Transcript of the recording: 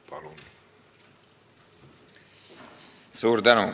Palun!